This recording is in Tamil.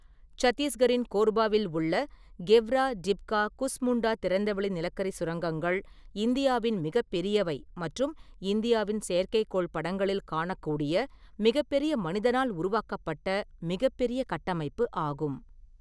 சத்தீஸ்கரின் கோர்பாவில் உள்ள கெவ்ரா, டிப்கா, குஸ்முண்டா திறந்தவெளி நிலக்கரிச் சுரங்கங்கள் இந்தியாவின் மிகப்பெரியவை மற்றும் இந்தியாவின் செயற்கைக்கோள் படங்களில் காணக்கூடிய மிகப்பெரிய மனிதனால் உருவாக்கப்பட்ட மிகப்பெரிய கட்டமைப்பு ஆகும்.